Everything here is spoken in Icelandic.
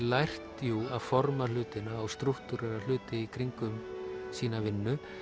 lært jú að forma hlutina og hluti í kringum sína vinnu